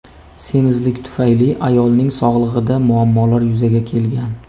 Semizlik tufayli ayolning sog‘lig‘ida muammolar yuzaga kelgan.